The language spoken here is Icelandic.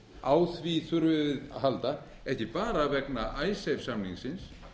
á því þurfum við að halda ekki bara vegna icesave samningsins